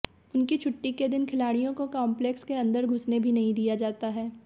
उनकी छुट्टी के दिन खिलाड़ियों को काम्प्लेक्स के अंदर घुसने भी नहीं दिया जाता है